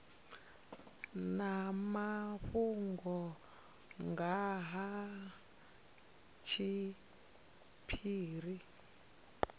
na mafhungo nga ha tshiphiri